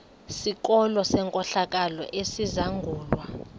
sikolo senkohlakalo esizangulwa